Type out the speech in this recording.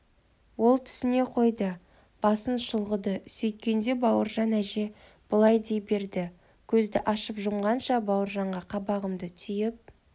ол түсіне қойды басын шұлғыды сөйткенше бауыржан әже бұлай дей берді көзді ашып-жұмғанша бауыржанға қабағымды түйіп